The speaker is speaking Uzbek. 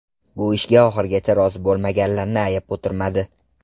Bu ishga oxirigacha rozi bo‘lmaganlarni ayab o‘tirmadi.